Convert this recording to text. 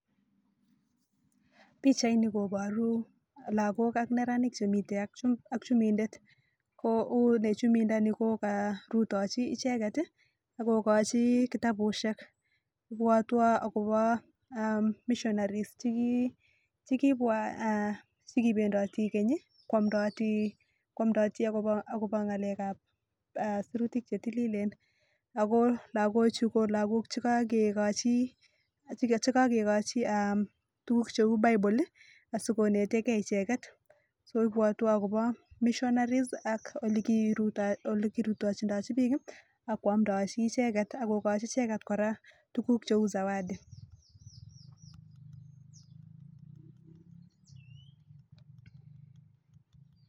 Pichaini koboru lokok ak neranik chemiten ak chumindet ko une chumindo nii ko korutochi icheket tii ak kokochi kitabushek ibwotwon ako aah missionaries chekibwa aah chekipendoti Kenyi kwomdoti ako ngalekab sirutik chetililen ako lokochu ko lokok chekokekochi chekokochi eeh tukuk cheu Bible asikonetengee icheket, so Ibwotwon akobo missionaries ak ole kirutoitoo olekirutochinotet bik kii kwomdochi icheket ak kokochi icheket koraa tukuk cheu zawadi.